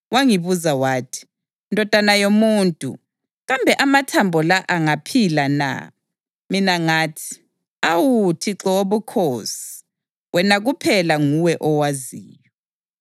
Wangibuza wathi, “Ndodana yomuntu, kambe amathambo la angaphila na?” Mina ngathi, “Awu Thixo Wobukhosi, wena kuphela nguwe owaziyo.”